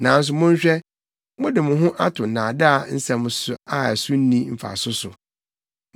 Nanso monhwɛ, mode mo ho ato nnaadaa nsɛm a so nni mfaso so.